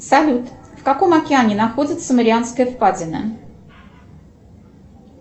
салют в каком океане находится марианская впадина